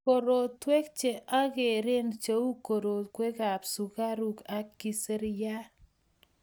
korotwek che ang'eren cheu, koroiwekab sukaruk ak kiserian